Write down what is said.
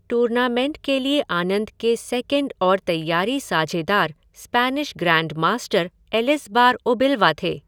Tournament के लिए आनंद के सेकेंड और तैयारी साझेदार स्पेनिश ग्रैंडमास्टर एलिसबार उबिलवा थे।